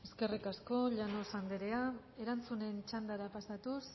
perder eskerrik asko llanos andrea erantzunen txandara pasatuz